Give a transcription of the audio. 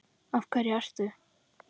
Af hverju ert þú.